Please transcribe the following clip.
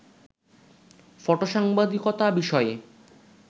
ফটোসাংবাদিকতা বিষয়ে